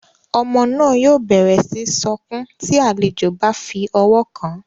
Ọmọ náà yóò bẹrẹ síi sọkun ti àlejò bá fí ọwọ kàn